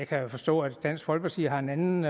kan jo forstå at dansk folkeparti har en anden